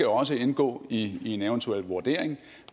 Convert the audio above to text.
også indgå i en eventuel vurdering